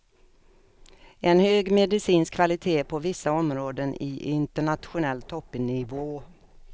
En hög medicinsk kvalité, på vissa områden i internationell toppnivå.